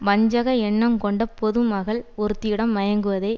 வஞ்சக எண்ணங்கொண்ட பொதுமகள் ஒருத்தியிடம் மயங்குவதை